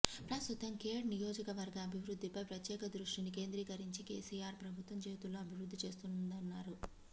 ప్రస్తుతం ఖేడ్ నియోజకవర్గ అభివృద్ధిపై ప్రత్యేక దృష్టిని కేంద్రీకరించి కెసిఆర్ ప్రభుత్వం చేతల్లో అభివృద్ధి చేస్తుందన్నారు